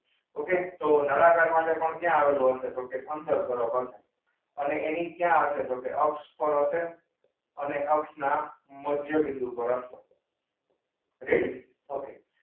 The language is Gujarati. okay તો નળાકાર માટે પણ ક્યાં આવેલું હસે? તોહ કે અંદર બરોબર અને એની ક્યાં હસે તોહ કે અક્ષ પર હસે અને અક્ષના મધ્યબિંદુ પર હશે. ready?